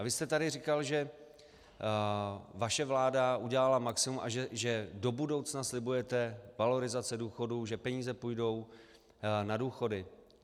A vy jste tady říkal, že vaše vláda udělala maximum a že do budoucna slibujete valorizace důchodů, že peníze půjdou na důchody.